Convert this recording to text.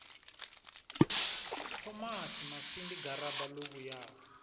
thomasi masindi garaba ḽo vhuyaho